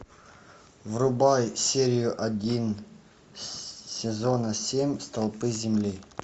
врубай серию один сезона семь столпы земли